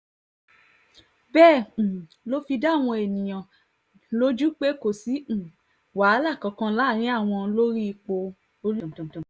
bẹ́ẹ̀ um ló fi dá àwọn èèyàn lójú pé kò sí um wàhálà kankan láàrin àwọn lórí ipò ọ̀rúbàdàn